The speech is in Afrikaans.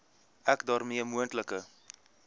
ek daarmee moontlike